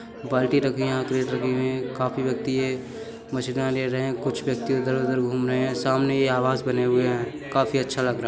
बाल्टी रखी हैयहाँ क्रेट रखी हुए हैं। काफी व्यक्ति है माछिया ले रहे हैं कुछ व्यक्ति इधर उधर घूम रहे हैं सामने ये आवास बने हुए हैं। काफी अच्छा लग रहा है।